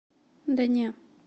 да не